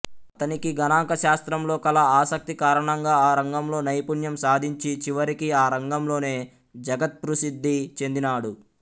అతనికి గణాంక శాస్త్రంలో కల ఆసక్తి కారణంగా ఆ రంగంలో నైపుణ్యం సాధించి చివరికి ఆ రంగంలోనే జగత్ప్రసిద్ధి చెందినాడు